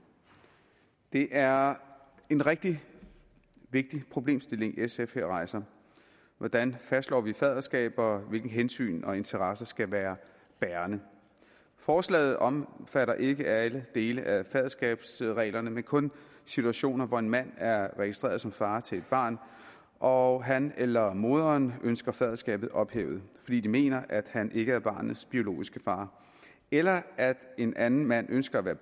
det er en rigtig vigtig problemstilling sf her rejser hvordan fastslår vi faderskab og hvilke hensyn og interesser skal være bærende forslaget omfatter ikke alle dele af faderskabsreglerne men kun situationer hvor en mand er registreret som far til et barn og han eller moderen ønsker faderskabet ophævet fordi de mener at han ikke er barnets biologiske far eller en anden mand ønsker at være